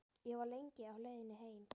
Ég var lengi á leiðinni heim.